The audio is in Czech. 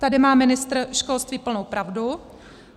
Tady má ministr školství plnou pravdu.